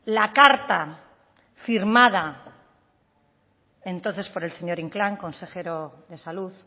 la carta firmada entonces por el señor inclán consejero de salud